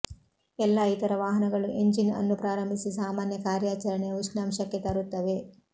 ಎಲ್ಲಾ ಇತರ ವಾಹನಗಳು ಎಂಜಿನ್ ಅನ್ನು ಪ್ರಾರಂಭಿಸಿ ಸಾಮಾನ್ಯ ಕಾರ್ಯಾಚರಣೆಯ ಉಷ್ಣಾಂಶಕ್ಕೆ ತರುತ್ತವೆ